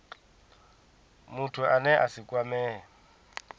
muthu ane a si kwamee